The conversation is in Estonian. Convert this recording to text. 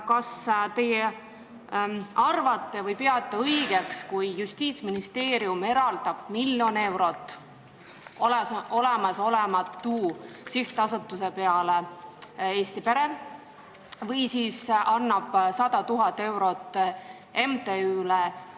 Kas teie peate õigeks, et Justiitsministeerium eraldab miljon eurot olemasolematule sihtasutusele Eesti Pere ja annab 100 000 eurot endiste metsavendade MTÜ-le?